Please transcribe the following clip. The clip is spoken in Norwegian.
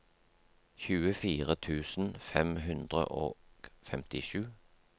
tjuefire tusen fem hundre og femtisju